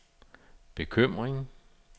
bekymring